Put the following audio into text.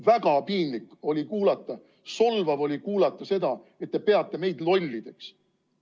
Väga piinlik oli kuulata, solvav oli kuulata seda, et te peate meid lollideks.